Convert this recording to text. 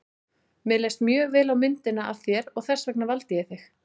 Mér leist mjög vel á myndina af þér og þess vegna valdi ég þig.